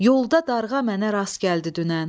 Yolda Darğa mənə rast gəldi dünən.